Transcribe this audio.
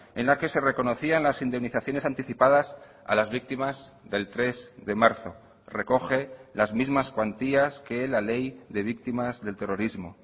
en la que se reconocían las indemnizaciones anticipadas a las víctimas del tres de marzo recoge las mismas cuantías que la ley de víctimas del terrorismo